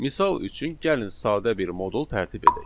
Misal üçün gəlin sadə bir modul tərtib edək.